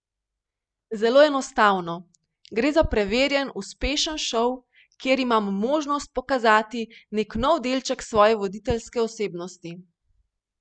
Zelo enostavno, gre za preverjen, uspešen šov, kjer imam možnost pokazati nek nov delček svoje voditeljske osebnosti.